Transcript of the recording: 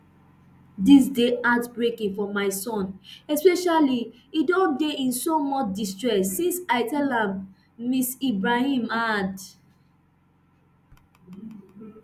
dis dey heartbreaking for my son especially e don dey in so much distress since i tell am ms ibrahim add